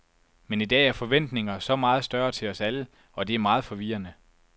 Men i dag er forventninger så meget større til os alle, og det er meget forvirrende.